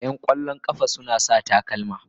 Yan kwallon kafa yana sa takalma.